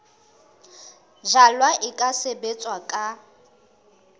jalwa e ka sebetswa ka